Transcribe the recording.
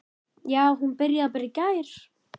Já, hún bara byrjaði í gær.